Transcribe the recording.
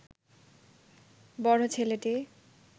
বড় ছেলেটি